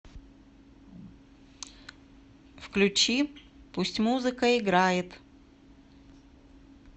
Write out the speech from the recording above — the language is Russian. включи пусть музыка играет